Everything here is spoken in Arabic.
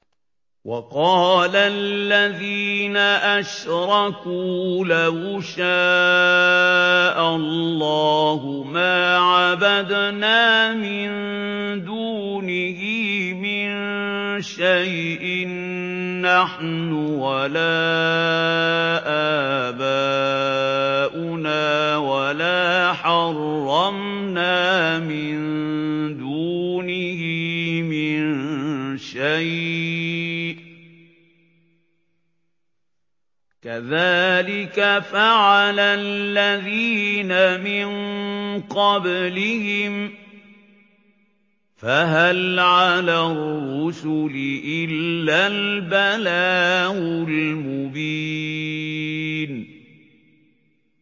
وَقَالَ الَّذِينَ أَشْرَكُوا لَوْ شَاءَ اللَّهُ مَا عَبَدْنَا مِن دُونِهِ مِن شَيْءٍ نَّحْنُ وَلَا آبَاؤُنَا وَلَا حَرَّمْنَا مِن دُونِهِ مِن شَيْءٍ ۚ كَذَٰلِكَ فَعَلَ الَّذِينَ مِن قَبْلِهِمْ ۚ فَهَلْ عَلَى الرُّسُلِ إِلَّا الْبَلَاغُ الْمُبِينُ